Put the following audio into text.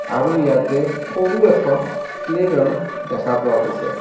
আৰু ইয়াতে সৰু এখন প্লেইগ্ৰাউণ্ড দেখা পোৱা গৈছে.